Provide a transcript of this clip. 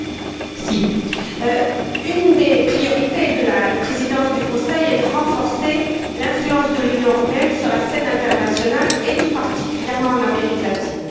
Madame la Présidente, une des priorités de la Présidence du Conseil est de renforcer l'influence de l'Union européenne sur la scène internationale, et tout particulièrement en Amérique latine.